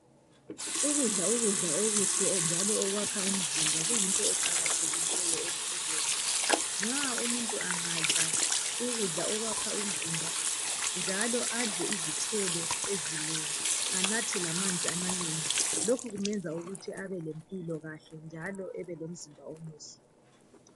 Ukudla ukudla okuhle njalo okwakha imizimba kuyinto eqakathekileyo empilweni nxa umuntu angadla ukudla okwakha umzimba njalo adle izithelo ezinengi anathe lamanzi amanengi lokhu kumenza ukuthi abelempilo kahle njalo lomzimba omuhle.